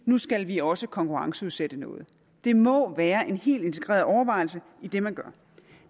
nu skal vi også konkurrenceudsætte noget det må være en helt integreret overvejelse i det man gør